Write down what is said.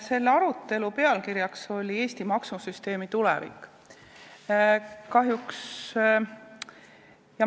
Selle arutelu teema on "Eesti maksusüsteemi tulevik".